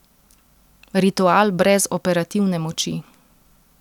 Ritual brez operativne moči.